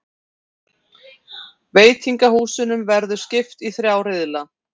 Veitingahúsunum verður skipt í þrjá riðla